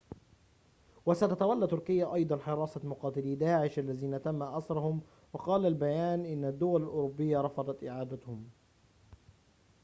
وستتولى تركيا أيضاً حراسة مقاتلي داعش الذين تم أسرهم وقال البيان إن الدول الأوروبية رفضت إعادتهم